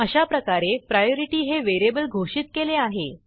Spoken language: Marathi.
अशाप्रकारे प्रायोरिटी हे व्हेरिएबल घोषित केले आहे